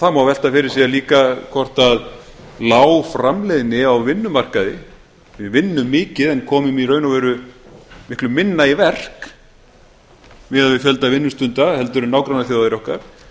það má velta fyrir sér líka hvort lág framleiðni á vinnumarkaði við vinnum mikið en komum í raun og veru miklu hinna í verk miðað við fjölda vinnustunda en nágrannaþjóðir okkar